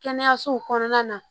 Kɛnɛyasow kɔnɔna na